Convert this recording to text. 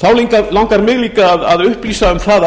þá langar mig til að upplýsa að